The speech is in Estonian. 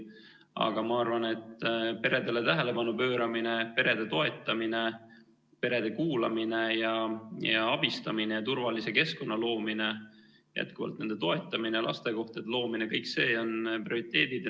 Aga ma arvan, et peredele tähelepanu pööramine, perede toetamine, perede kuulamine ja abistamine ja turvalise keskkonna loomine, lasteaiakohtade loomine – kõik need on prioriteedid.